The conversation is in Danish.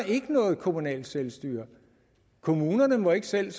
ikke noget kommunalt selvstyre kommunerne må ikke selv